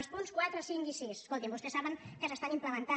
els punts quatre cinc i sis escolti’m vostès saben que s’estan implementant